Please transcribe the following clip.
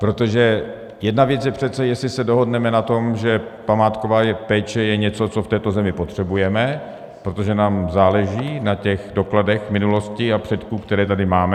Protože jedna věc je přece, jestli se dohodneme na tom, že památková péče je něco, co v této zemi potřebujeme, protože nám záleží na těch dokladech minulosti a předků, které tady máme.